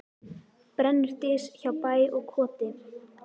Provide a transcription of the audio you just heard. Brennur dys hjá bæ og koti.